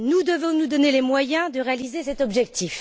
Nous devons nous donner les moyens de réaliser cet objectif.